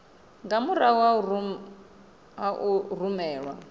nga murahu ha u rumelwa